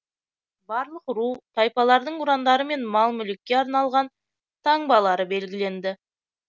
барлық ру тайпалардың ұрандары мен мал мүлікке арналған таңбалары белгіленді